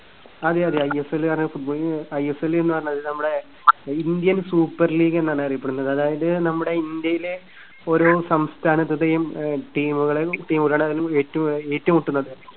അതെയത. I S L എന്ന് പറഞ്ഞാൽ, I S L എന്ന് പറഞ്ഞാൽ നമ്മുടെ ഇന്ത്യൻ സൂപ്പർ ലീഗ് എന്നാണ് അറിയപ്പെടുന്നത്. അതായത് നമ്മുടെ ഇന്ത്യയിലെ ഓരോ സംസ്ഥാനത്തിന്റെയും ആഹ് team കളും team കളാണ് ഏറ്റു~ഏറ്റുമുട്ടുന്നത്.